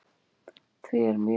Því er mjög